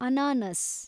ಅನಾನಸ್‌